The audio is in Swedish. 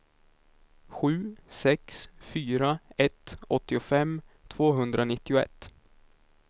sju sex fyra ett åttiofem tvåhundranittioett